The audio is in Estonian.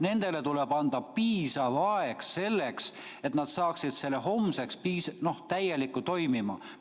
Nendele tuleb anda piisav aeg selleks, et nad saaksid selle homseks täielikult toimima.